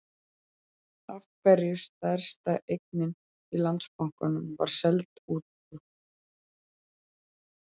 Af hverju stærsta eignin í Landsbankanum var seld út úr?